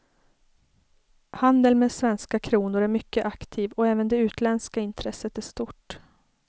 Handeln med svenska kronor är mycket aktiv och även det utländska intresset är stort.